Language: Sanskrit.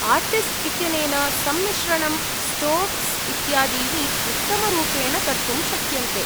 आर्टिस्ट् इत्यनेन सम्मिश्रणं, स्ट्रोक्स् इत्यादीनि उत्तमरूपेण कर्तुं शक्यन्ते।